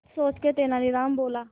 कुछ सोचकर तेनालीराम बोला